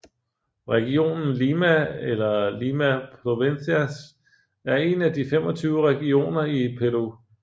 Regionen Lima eller Lima Provincias er en af de 25 regioner i Peru